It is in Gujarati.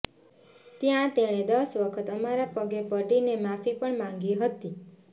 જ્યાં તેણે દસ વખત અમારા પગે પડીને માફી પણ માંગી હતી